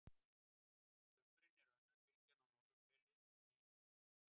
á sumrin er önnur bylgjan á norðurhveli en hin á suðurhveli